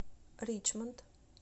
ричмонд